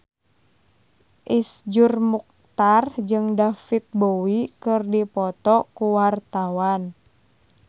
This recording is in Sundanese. Iszur Muchtar jeung David Bowie keur dipoto ku wartawan